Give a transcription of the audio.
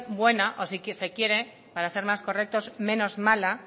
buena o si se quiere para ser más correctos menos mala